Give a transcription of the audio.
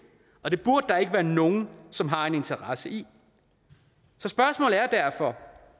og det burde der ikke være nogen som har en interesse i så spørgsmålet er derfor